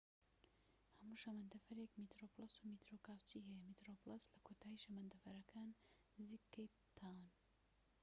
هەموو شەمەندەفەرێك میترۆ پلەس و میترۆ کاوچی هەیە میترۆ پلەس لە کۆتایی شەمەندەفەرەکەدان نزیك کەیپ تاون